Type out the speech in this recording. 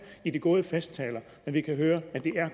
ved de gode festtaler men vi kan høre at det